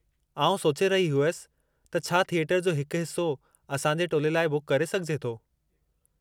आउं सोचे रही हुयसि त छा थिएटर जो हिकु हिस्सो असां जे टोले लाइ बुक करे सघिजे थो?